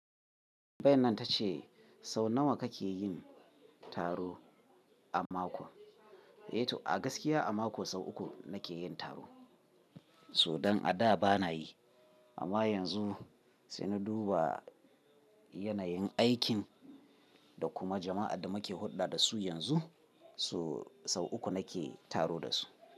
Tambayan nan ta ce sau nawa kake yin taro a mako? Yanzu a gaskiya a mako sau uku nake yin taro. So dan a da bana yi amma yanzu sai na duba yanayin aikin da kuma jama'a da muke hulɗa da su yanzu. So sau uku nake taro da su.